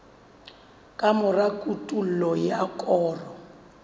ka mora kotulo ya koro